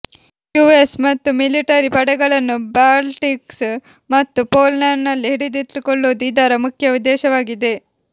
US ಮತ್ತು military ಪಡೆಗಳನ್ನು Baltics ಮತ್ತು ಪೋಲಂಡ್ನಲ್ಲಿ ಹಿಡಿದಿಟ್ಟುಕೊಳ್ಳುವುದು ಇದರ ಮುಖ್ಯ ಉದ್ದೇಶವಾಗಿದೆ